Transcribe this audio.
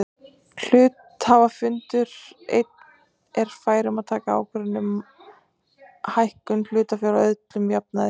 Hluthafafundur einn er fær um að taka ákvörðun um hækkun hlutafjár að öllum jafnaði.